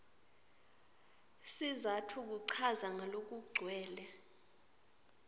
sizatfu kuchaza ngalokugcwele